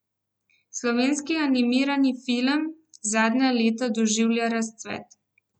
Slovenski animirani film zadnja leta doživlja razcvet.